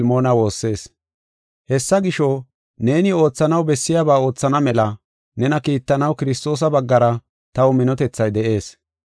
Hessa gisho, neeni oothanaw bessiyaba oothana mela nena kiittanaw Kiristoosa baggara taw minotethay de7ees.